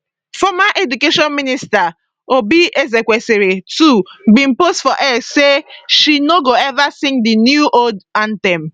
former education minister oby ezekwesili too bin post for x say she no go ever sing di newold anthem